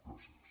gràcies